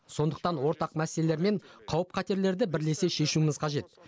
сондықтан ортақ мәселелер мен қауіп қатерлерді бірлесе шешуіміз қажет